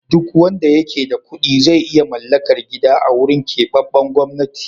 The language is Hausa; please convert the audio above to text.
Duk wanda yake da kuɗi zai iya mallakar gida a wurin keɓaɓɓen gwamnati.